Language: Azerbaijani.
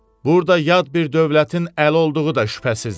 Burda yad bir dövlətin əli olduğu da şübhəsizdir.